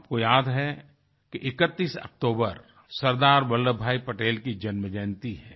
आपको याद है कि 31 अक्टूबर सरदार वल्लभभाई पटेल की जन्म जयंती है